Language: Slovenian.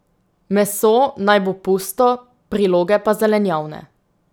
Meso naj bo pusto, priloge pa zelenjavne.